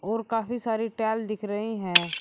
और काफी सारी टाइल दिख रही हैं।